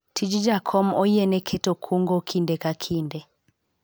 tij jakom oyiene keto kungo kinde ka kinde